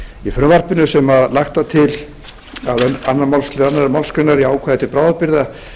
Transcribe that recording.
í frumvarpinu sem lagt var til annars málsl annarrar málsgreinar í ákvæði til bráðabirgða